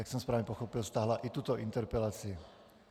Jak jsem správně pochopil, stáhla i tuto interpelaci.